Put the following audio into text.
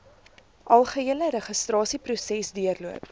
algehele registrasieproses deurloop